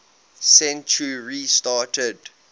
century started